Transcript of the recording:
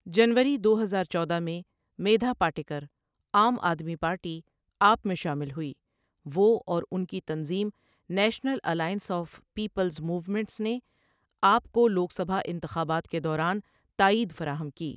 جنوری دو ہزار چودہ میں میدھا پاٹکر عام آدمی پارٹی آپ میں شامل ہوئی وہ اور ان کی تنظیم national alliance of peoples movements نے عآپ کو لوک سبھا انتخابات کے دوران تائید فراہم کی ۔